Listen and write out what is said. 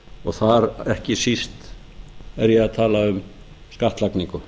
og þar ekki síst er ég að tala um skattlagningu